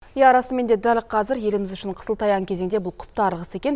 иә расымен де дәл қазір еліміз үшін қысылтаяң кезеңде бұл құптарлық іс екен